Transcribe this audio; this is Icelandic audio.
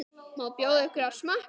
Má bjóða ykkur að smakka?